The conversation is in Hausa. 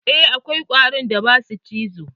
Eh, akwai ƙwarin da ba su cizo.